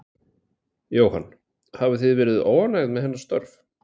Jóhann: Hafið þið verið óánægð með hennar störf?